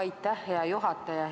Aitäh, hea juhataja!